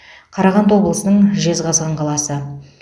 қарағанды облысының жезқазған қаласы